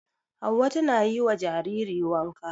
Hauwa tana yi wa jariri wanka.